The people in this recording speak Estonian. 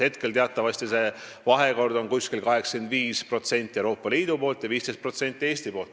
Hetkel on teatavasti see vahekord selline: 85% Euroopa Liidu poolt ja 15% Eesti poolt.